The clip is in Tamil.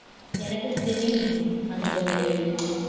எனக்கும் தெரியும் அந்த ஒரு